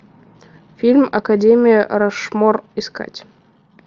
фильм академия рашмор искать